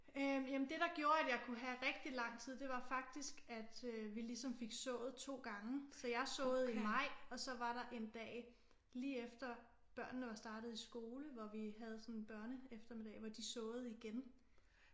Øh jamen det der gjorde at jeg kunne have rigtig lang tid det var faktisk at øh vi ligesom fik sået 2 gange så jeg såede i maj og så var der en dag lige efter børnene var startet i skole hvor vi havde sådan en børneeftermiddag hvor de såede igen